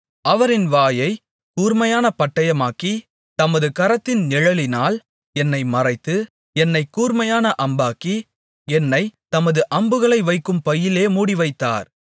அவர் என் வாயைக் கூர்மையான பட்டயமாக்கி தமது கரத்தின் நிழலினால் என்னை மறைத்து என்னைக் கூர்மையான அம்பாக்கி என்னைத் தமது அம்புகளை வைக்கும் பையிலே மூடிவைத்தார்